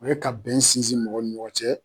O ye ka bɛn sinsin mɔgɔw ni ɲɔgɔn cɛ